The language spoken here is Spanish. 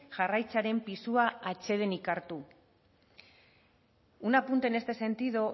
jarraitzearen pisua atsedenik hartu un apunte en este sentido